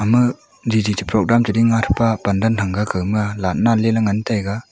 ama jiji cha program chading nga thapa pandan thanga kawma laghtna liley ngan thang ga.